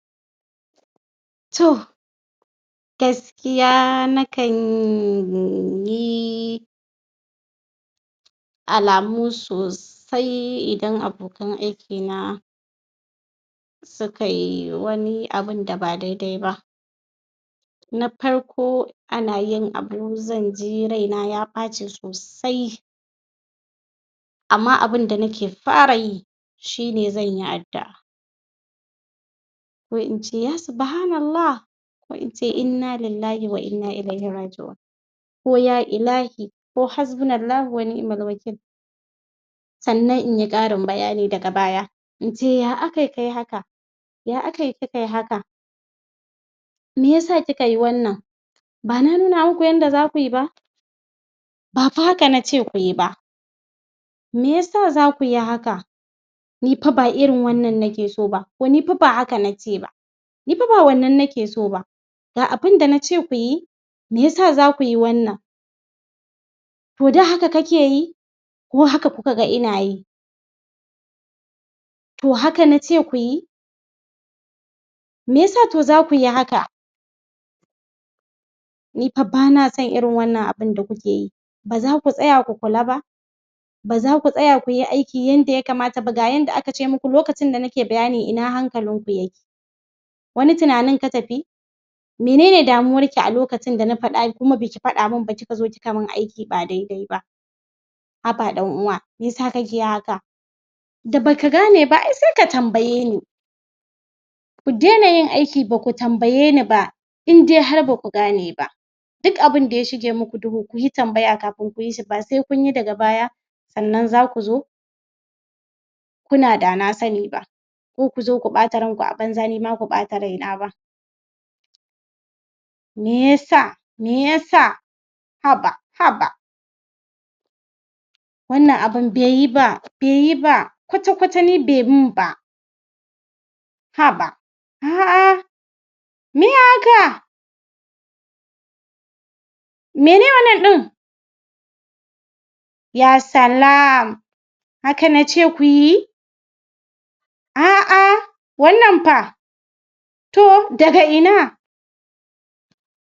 To Gaskiya nakan yi alamu sosai idan abokan aikina su kai wani abun da ba daidai ba. na farko ana yin abu zan ji raina ya ɓaci sosai amma abun da nike fara yi shine zan yi addua'a. ko in ce ya subhanallah ko in ce innalillahi wa'inna ilaihirraji'un. ko ya ilahi, ko hasbunallahi wa'nimal wakil sannan in yi ƙarin bayani daga baya, in ce ya akai kai haka ya akai kikai haka mi yasa ki kai wanna, ba na nuna muku yadda za ku yi ba ba fa haka na ce ku yi ba me yasa za ku yi haka ni fa ba irin wannan nike so ba, ko ni fa ba haka nikeo so ba. Ni fa ba wannan nike so ba, ga abun da na ce ku yi, me yasa za ku yi wannan? to da haka kuke yi, ko haka kuka ga ina yi? to haka na ce ku yi? me ya sa to za ku yi haka? ni fa ba na son irin wannan abun da kuke yi, ba za ku tsaya ku kula ba. ba za ku tsaya ku yi aiki yadda ya kamata ba, ga yanda aka ce muku lokacin da nike bayani ina hankalinku yake? wani tunanin ka tafi? menen damuwarki a lokacin da na faɗa kuma ba ki faɗa man ba ki ka zo ki ka man aiki ba dai-dai ba. haba ɗan'uwa me yasa kake haka? da ba ka gane ba ai sai ka tambaye ni ku daina yin aiki ba ku tambayeni ba har in dai ba ku gane ba. duk abun da ya shige muku duhu ku yi tambaya kafin ku yi shi, ba sai kun yi daga baya sannan za ku zo kuna da na sani ba ko ku zo ku ɓata ranku a banza ni ma ku ɓata raina ba. Me ya sa, me ya sa? haba, haba Wannan abun bai yi ba bai yi ba kwata-kwata ni bai yi man ba haba a a meye haka? mene wannan ɗin? ya salam, haka na ce ku yi? a a wannan fa? to, daga ina?